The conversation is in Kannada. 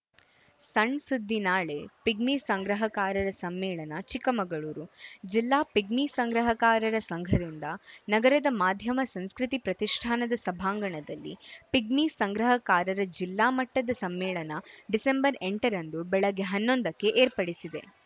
ಸಣ್‌ ಸುದ್ದಿ ನಾಳೆ ಪಿಗ್ಮಿ ಸಂಗ್ರಹಕಾರರ ಸಮ್ಮೇಳನ ಚಿಕ್ಕಮಗಳೂರು ಜಿಲ್ಲಾ ಪಿಗ್ಮಿ ಸಂಗ್ರಹಕಾರರ ಸಂಘದಿಂದ ನಗರದ ಮಾಧ್ಯಮ ಸಂಸ್ಕೃತಿ ಪ್ರತಿಷ್ಠಾನದ ಸಭಾಂಗಣದಲ್ಲಿ ಪಿಗ್ಮಿ ಸಂಗ್ರಹಕಾರರ ಜಿಲ್ಲಾ ಮಟ್ಟದ ಸಮ್ಮೇಳನ ಡಿಸೆಂಬರ್ಎಂಟರಂದು ಬೆಳಗ್ಗೆ ಹನ್ನೊಂದಕ್ಕೆ ಏರ್ಪಡಿಸಿದೆ